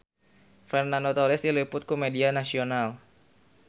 Fernando Torres diliput ku media nasional